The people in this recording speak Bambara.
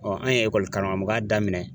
an ye ekɔli karamɔgɔya daminɛ